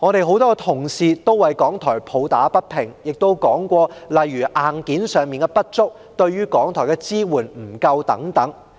很多同事為香港電台抱打不平，亦提及例如硬件上的不足、對港台的支援不足等。